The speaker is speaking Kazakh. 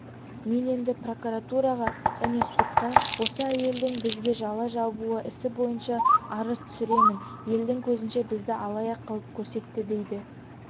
мен енді прокуратураға және сотқа осы әйелдің бізге жала жабуы ісі бойынша арыз түсіремін елдің көзінше бізді алаяқ қылып көрсетті дейді